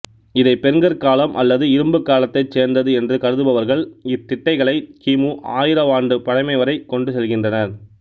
இதை பெருங்கற்காலம் அல்லது இரும்புக்காலத்தைச் சேர்ந்தது என்று கருதுபவர்கள் இத்திட்டைகளை கி மு ஆயிரவாண்டு பழமை வரை கொண்டு செல்கின்றனர்